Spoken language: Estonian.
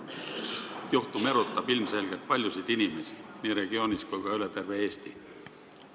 See juhtum erutab ilmselgelt paljusid inimesi nii regioonis kui ka üle terve Eesti.